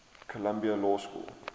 columbia law school